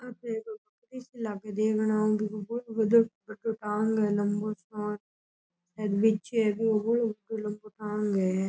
यहाँ पे लम्बो सा और बिछे --